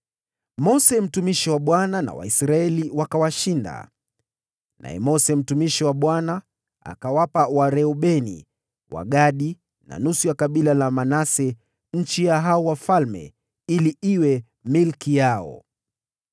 Mose, mtumishi wa Bwana, na Waisraeli wakawashinda. Naye Mose mtumishi wa Bwana akawapa Wareubeni, Wagadi na nusu ya kabila la Manase nchi ya hao wafalme ili iwe milki yao.